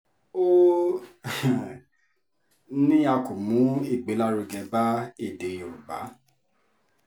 ó um ní a kò mú ìgbélárugẹ bá èdè yorùbá